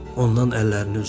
Ondan əllərini üzdülər.